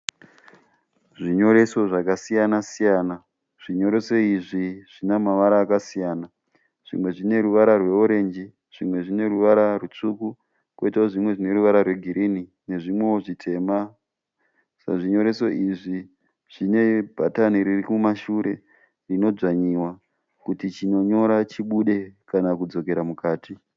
Zvinyoreso zvakasiyanasiyana. Zvinyoreso izvi zvine mavara akasiyana. Zvimwe zvine ruvara rweorenji, zvimwe zvine ruvara rutsvuku, koitawo zvimwe zvine ruvara rwegirini nezvimwewo zvitema. Zvinyoreso izvi zvine bhatani riri kumashure rinodzvanyiwa kuti chinonyora chibude kana kudzokera mukati.